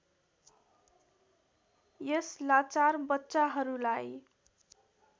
यस लाचार बच्चाहरूलाई